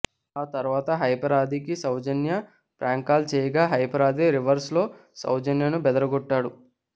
ఆ తరువాత హైపర్ ఆదికి సౌజన్య ఫ్రాంక్ కాల్ చేయగా హైపర్ ఆది రివర్స్ లో సౌజన్యను బెదరగొట్టాడు